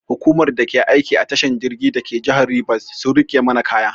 Hukumar da ke aiki a tashar jirgi dake jihar Rivers sun rike mana kaya.